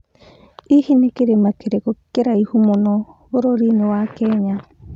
nĩ kĩrima kĩrikũ kĩraihu mũno bũrũrĩinĩ wa Kenya